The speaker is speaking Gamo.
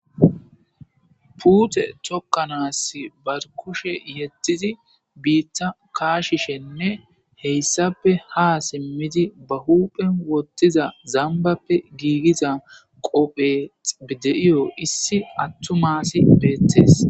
puute tokkanaas bar kushe yettidi biitta kaashishenne heyssape ha simmidi ba huphen wottiza zambappe giigiza qophex de7iyo issi attu maasi beettees